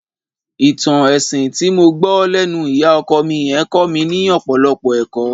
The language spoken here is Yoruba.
Ìtàn ẹṣin tí mo gbọ́ lẹ́nu ìyá ọkọ mi yẹn kọ́ mi ní ọ̀pọ̀lọpọ̀ ẹ̀kọ́